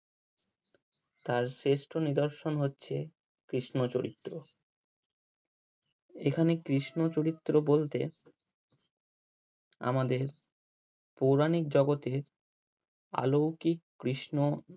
তার শ্রেষ্ট নিদর্শন হচ্ছে কৃষ্ণ চরিত্র এখানে কৃষ্ণ চরিত্র বলতে আমাদের পৌরাণিক জগতে অলৌকিক কৃষ্ণ